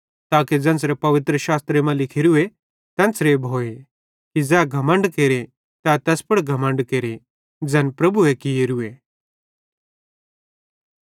ताके ज़ेन्च़रे पवित्रशास्त्रे मां लिखोरए तेन्च़रे भोए कि ज़ै घमण्ड केरे तै तैस पुड़ घमण्ड केरे ज़ैन प्रभुए कियोरूए